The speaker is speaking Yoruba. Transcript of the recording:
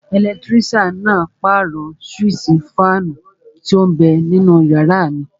Ẹlẹtírísàn náà pàrọ̀ súwísì fáànù tó n bẹ ninú yàrá mi